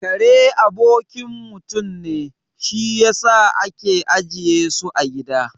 Kare abokin mutum ne, shi yasa ake ajiye su a gida